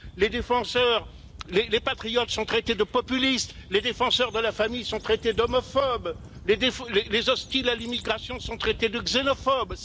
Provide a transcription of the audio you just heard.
Les patriotes sont traités de populistes, les défenseurs de la famille sont traités d'homophobes, les hostiles à l'immigration sont traités de xénophobes.